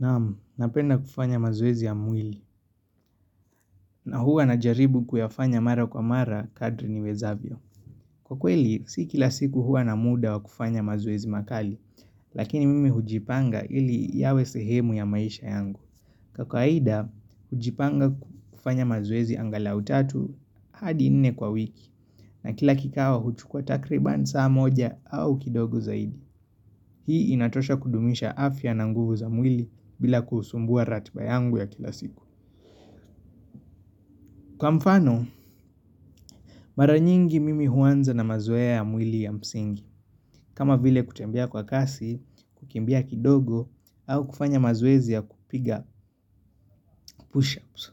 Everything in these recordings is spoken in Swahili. Naam, napenda kufanya mazoezi ya mwili, na huwa na jaribu kuyafanya mara kwa mara kadri ni wezavyo. Kwa kweli, si kila siku huwa na muda wa kufanya mazuoezi makali, lakini mimi hujipanga ili yawe sehemu ya maisha yangu. Kwa kawaida, hujipanga kufanya mazuoezi angalau tatu hadi nne kwa wiki, na kila kikao huchukua takriban saa moja au kidogo zaidi. Hii inatosha kudumisha afya na nguvu za mwili bila kusumbua ratba yangu ya kila siku. Kwa mfano, mara nyingi mimi huanza na mazoea ya mwili ya msingi, kama vile kutembea kwa kasi, kukimbia kidogo, au kufanya mazoezi ya kupiga push-ups.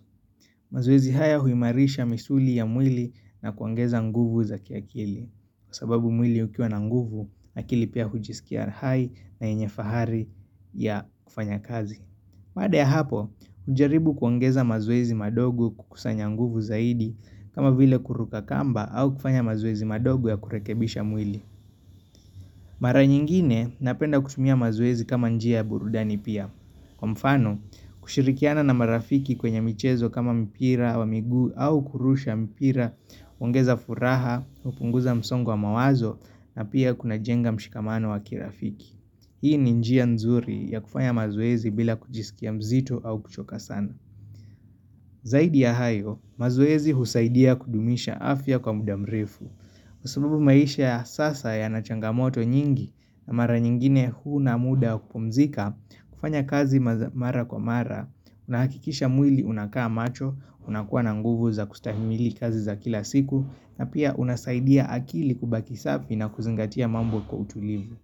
Mazoezi haya huimarisha misuli ya mwili na kuongeza nguvu za kiakili, kwa sababu mwili ukiwa na nguvu, akili pia hujisikia hai na yenye fahari ya kufanya kazi. Baada ya hapo, hujaribu kuongeza mazoezi madogo kukusanyanguvu zaidi kama vile kuruka kamba au kufanya mazoezi madogo ya kurekebisha mwili. Mara nyingine napenda kutumia mazoezi kama njia ya burudani pia. Kwa mfano, kushirikiana na marafiki kwenye michezo kama mpira wa miguu au kurusha mpira, huongeza furaha, hupunguza msongo wa mawazo na pia kuna jenga mshikamano wakirafiki. Hii ni njia nzuri ya kufanya mazwezi bila kujisikia mzito au kuchoka sana. Zaidi ya hayo, mazoezi husaidia kudumisha afya kwa mudamrefu. Kwa sababu maisha ya sasa yanachangamoto nyingi na mara nyingine huna muda wa kupumzika, kufanya kazi mara kwa mara, unahakikisha mwili unakaa macho, unakuwa na nguvu za kustahimili kazi za kila siku, na pia unasaidia akili kubaki safi na kuzingatia mambo kwa utulivu.